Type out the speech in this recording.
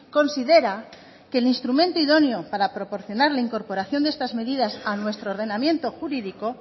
considera que el instrumento idóneo para proporcionar la incorporación de estas medidas a nuestro ordenamiento jurídico